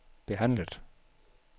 behandlet